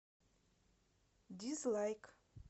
дизлайк